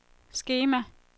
skema